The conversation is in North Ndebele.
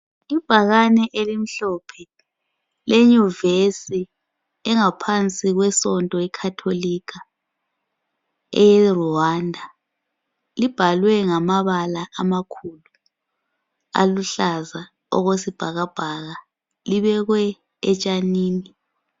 Ibhakane elimhlophe leYuvesi engaphansi kwesonto ye Khatholika eRwanda. Libhalwe ngamabala amakhulu aluhlaza okwesibhakabhaka. Libekwe etshanini.